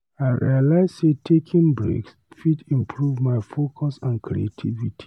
I realize sey taking breaks fit improve my focus and creativity.